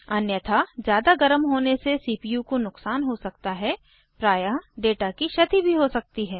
अन्यथा ज़्यादा गर्म होने से सीपीयू को नुकसान हो सकता है प्रायः डेटा की क्षति भी हो सकती है